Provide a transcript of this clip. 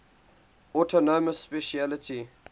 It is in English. autonomous specialty